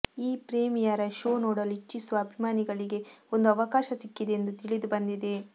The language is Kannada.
ಈ ಪ್ರೀಮಿಯರ ಶೋ ನೋಡಲು ಇಚ್ಛಿಸುವ ಅಭಿಮಾನಿಗಳಿಗೆ ಒಂದು ಅವಕಾಶ ಸಿಕ್ಕಿದೆ ಎಂದು ತಿಳಿದು ಬಂದಿದೆ